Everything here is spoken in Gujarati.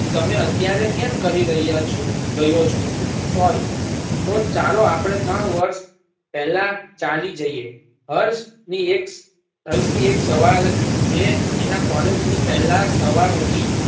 તમે અત્યારે કેમ કહી રહ્યા છો રહ્યો છું sorry તો ચાલો આપડે ત્રણ વર્ષ પેલા ચાલી જઈએ. હર્ષની એક હર્ષની એક સવાર જે એના કૉલેજ ની પેલા સવાર હતી.